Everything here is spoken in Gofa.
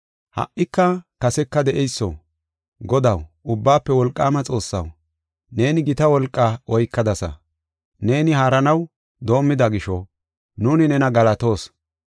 “Ha77ika kaseka de7eyso, Godaw, Ubbaafe Wolqaama Xoossaw, neeni gita wolqaa oykadasa. Neeni haaranaw doomida gisho, nuuni nena galatoos.